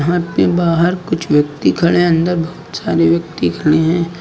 घर के बाहर कुछ व्यक्ति खड़े हैं अंदर बहुत सारे व्यक्ति खड़े हैं।